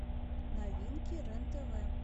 новинки рен тв